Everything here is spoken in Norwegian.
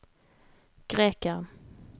grekeren